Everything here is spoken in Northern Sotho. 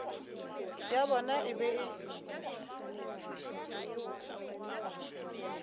ya bona e be e